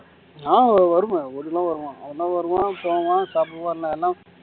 அஹ் வருவான் வீட்டுக்குள்ள வருவான் அவன்தான் வருவான் போவான் சாப்பிடுவான் எல்லாம்